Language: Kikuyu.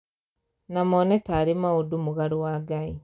Na mone tarĩ maundũ mũgarũ wa ngai